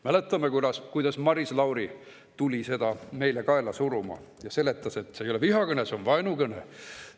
Mäletame, kuidas Maris Lauri tuli seda meile kaela suruma ja seletas, et see ei ole vihakõne, see on vaenukõne.